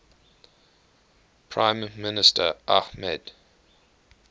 prime minister ahmed